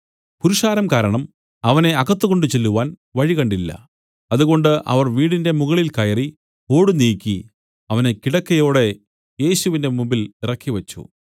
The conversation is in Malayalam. പുരുഷാരം കാരണം അവനെ അകത്ത് കൊണ്ടുചെല്ലുവാൻ വഴി കണ്ടില്ല അതുകൊണ്ട് അവർ വീടിന്റെ മുകളിൽ കയറി ഓടു നീക്കി അവനെ കിടക്കയോടെ യേശുവിന്റെ മുമ്പിൽ ഇറക്കിവച്ചു